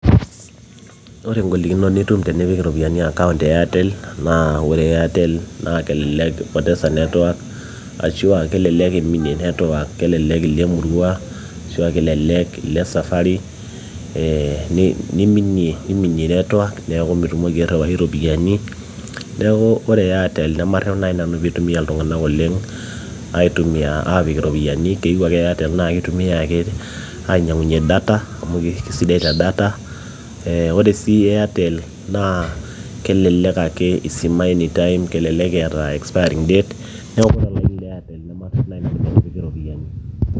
ore ingolikinot nitum tenipik iropiani account e airtel naa ore airtel kelelek ipotesa network ashua kelelek iminie cs]network kelelek ilo emurua ashua kelelek ilo esafari eh niminie network neeku mitumoki airriwai iropiani neeku ore airtel nemarrep naaji nanu piitumia iltung'anak oleng aitumia apik iropiani keyieu ake airtel naa kitumiay ake ainyiangunyie data amu kisidai te data ore sii airtel naa kelelek ake isimay anytime kelelek eeta expiring date neeku ore olaini le airtel nemarrep naaji nanu metipiki iropiyiani.